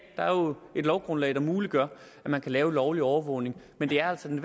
der er et lovgrundlag der muliggør at man kan lave lovlig overvågning men det er altså den